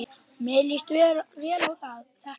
Mér líst vel á þetta.